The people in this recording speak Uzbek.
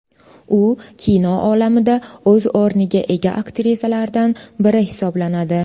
U kino olamida o‘z o‘rniga ega aktrisalardan biri hisoblanadi.